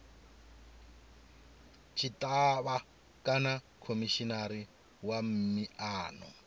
tshitshavha kana khomishinari wa miano